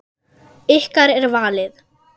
Ykkar er valið.